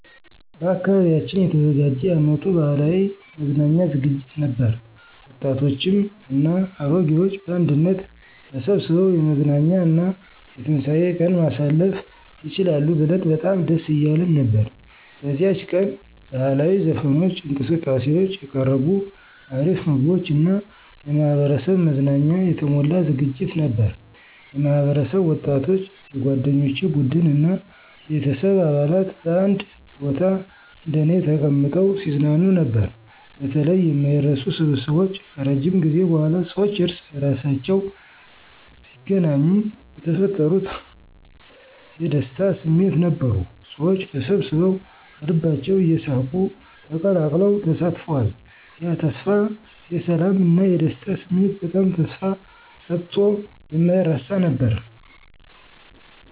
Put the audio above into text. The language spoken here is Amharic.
በአካባቢያችን የተዘጋጀ የአመቱ ባህላዊ መዝናኛ ዝግጅት ነበር፤ ወጣቶችም እና አሮጌዎች በአንድነት ተሰብስበው የመዝናኛ እና የትንሳኤ ቀን ማሳለፍ ይችላሉ ብለን በጣም ደስ እያለን ነበር። በዚያች ቀን ባህላዊ ዘፈኖች፣ እንቅስቃሴዎች፣ የቀረቡ አሪፍ ምግቦች እና የማህበረሰብ መዝናኛ የተሞላ ዝግጅት ነበር። የማህበረሰብ ወጣቶች፣ የጓደኞቼ ቡድን እና ቤተሰብ አባላት በአንድ ቦታ እንደኔ ተቀምጠው ሲዝናኑ ነበር። በተለይ የማይረሱ ስብስቦች ከረጅም ጊዜ በኋላ ሰዎች እርስ በርሳቸው ሲገናኙ የተፈጠሩት የደስታ ስሜት ነበሩ። ሰዎች ተሰብስበዉ ከልባቸው እየሳቁ ተቀላቅለው ተሳትፈዋል። ያ ተስፋ የሰላም እና የደስታ ስሜት በጣም ተስፋ ሰጥቶ የማይረሳ ነበር።